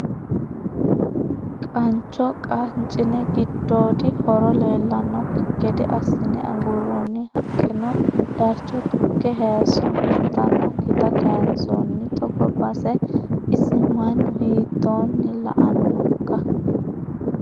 Qancho qanchine giddodi horo leellanokki gede assine aguronni haqqeno darcho tuge hayiso huntanokkitta kayinsonni togo base isi mannu hiittoni la"anokka.